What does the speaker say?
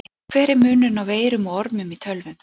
Hver er munurinn á veirum og ormum í tölvum?